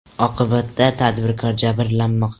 Oqibatda tadbirkor jabrlanmoqda.